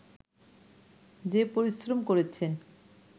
যে পরিশ্রম করেছেন